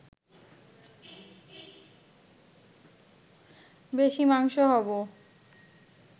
বেশি মাংস হব